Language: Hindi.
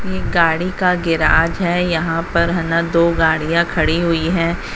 ये एक गाड़ी का गैरेज है यहां पर है ना दो गाड़ियां खड़ी हुई है।